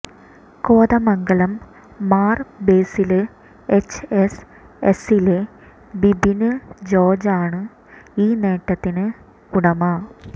Kothamangalam Mar Basil H S എസിലെ ബിബിന് ജോര്ജാണ് ഈ നേട്ടത്തിന് ഉടമ